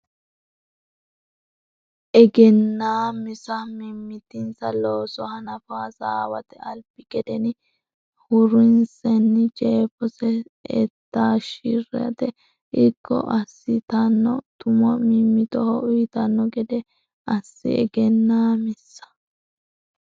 Egennaa misa mimmitinsa looso hanafo assaawete albi gedeni hurrinsenna jeefose e taashshi rate irko assitanno tumo mimmitoho uytanno gede assi Egennaa misa.